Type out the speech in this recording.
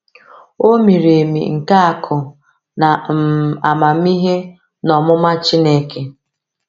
“O miri emi nke akụ na um amamihe na ọmụma Chineke!”